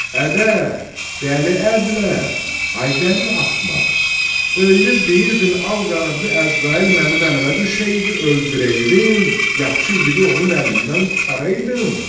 Ədə, dəli əbləh, ay dəli axmaq, öyünüb deyirdin al qanadlı Əzrail mənim əlimə düşəydi, öldürəydim, yaxşı igidi onun əlindən qurtaraydım.